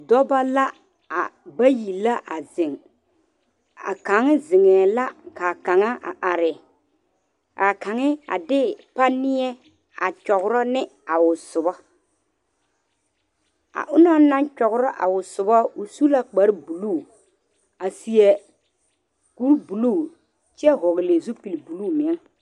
Dɔɔba la a bayi la a zeŋ a kaŋa zeŋe la kaa kaŋa a are kaa kaŋa a de panie a nyɛro ne a o sobo a onaŋ naŋ nyɛro a o sobo o su la kpare buluu a seɛ kur buluu kyɛ vɔgle zupele buluu meŋ.